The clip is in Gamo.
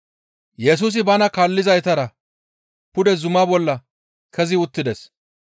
Yesusi bana kaallizaytara pude zuma bolla kezi uttides.